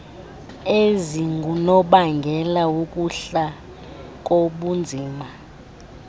ezingunobangela wokuhla kobunzima